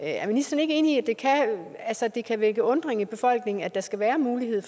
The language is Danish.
er ministeren ikke enig i at det kan vække undren i befolkningen at der skal være mulighed